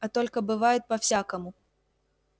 а только бывает по-всякому